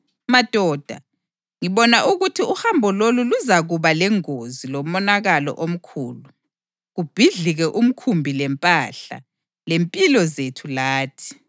“Madoda, ngibona ukuthi uhambo lolu luzakuba lengozi lomonakalo omkhulu, kubhidlike umkhumbi lempahla, lempilo zethu lathi.”